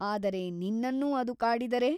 ಆದರೆ ನಿನ್ನನ್ನೂ ಅದು ಕಾಡಿದರೆ ?